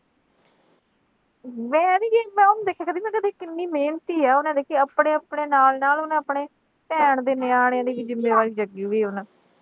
ਮੈਂ ਇਹ ਨੀਂ ਕਹਿੰਦੀ। ਮੈਂ ਦੇਖਿਆ ਨਾ ਕਿੰਨੀ ਮਿਹਨਤੀ ਆ, ਉਹਨੇ ਦੇਖੋ ਆਪਣੇ ਆਪਣੇ ਨਾਲ ਨਾਲ ਉਹਨੇ ਆਪਣੇ ਭੈਣ ਦੇ ਵੀ ਨਿਆਣੇ ਦੀ ਜ਼ਿੰਮੇਵਾਰੀ ਚੱਕੀ ਹੋਈ ਆ।